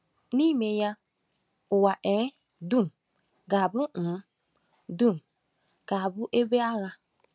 N’ime ya, ụwa um dum ga-abụ um dum ga-abụ ebe agha.